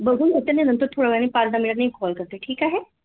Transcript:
बघून घेते नंतर थोड्यावेळाने एक पाच दहा मिनटांत एक कॉल करते ठिक आहे